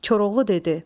Koroğlu dedi.